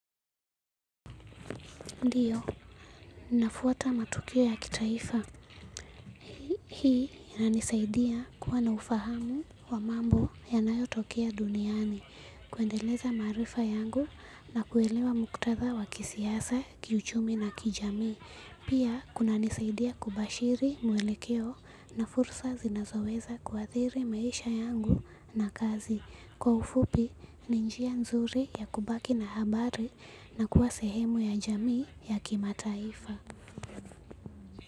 Ndio, nafuata matukio ya kitaifa, hii inanisaidia kuwa na ufahamu wa mambo yanayotokea duniani, kuendeleza maarifa yangu na kuelewa muktadha wa kisiasa, kiuchumi na kijamii, pia kunanisaidia kubashiri mwelekeo na fursa zinazoweza kuathiri maisha yangu na kazi. Kwa ufupi ni njia nzuri ya kubaki na habari na kuwa sehemu ya jamii ya kimataifa.